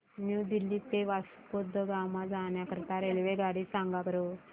new Delhi ते वास्को द गामा जाण्या करीता रेल्वेगाडी सांगा बरं